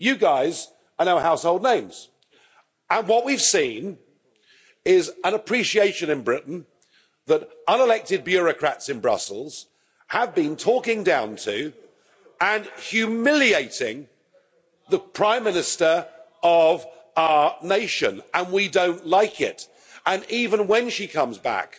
You guys are now household names and what we've seen is an appreciation in Britain that unelected bureaucrats in Brussels have been talking down to and humiliating the Prime Minister of our nation, and we don't like it and even when she comes back,